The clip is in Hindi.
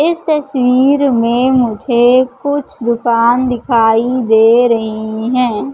इस तस्वीर में मुझे कुछ दुकान दिखाई दे रही हैं।